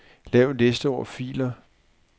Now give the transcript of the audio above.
Lav en liste over filer.